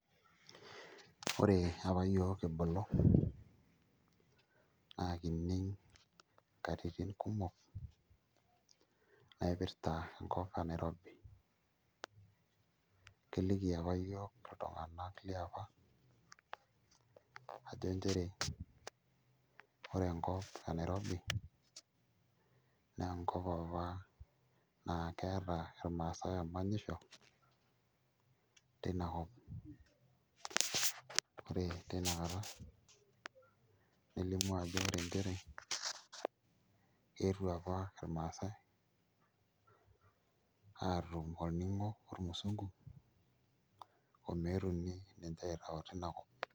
Ore apa aiyiook kibulu naa kining' nkatinin kumok naipirta enkop e Nairobi, keliki apa iyiook iltung'anak liaapa ajo nchere ore enkop e Nairobi naa enkop apa naa keeta irmaasai emanyisho tina kop ore tina kata nelimu ajo ore nchere eetuo apa irmaasai aatum olning'o ormusungu omeetuni ninche aitau tina kop.